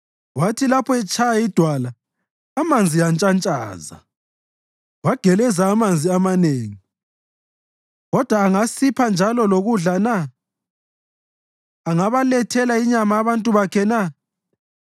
Wathi lapho etshaya idwala, amanzi antshantshaza, kwageleza amanzi amanengi. Kodwa angasipha njalo lokudla na? Angabalethela inyama abantu bakhe na?”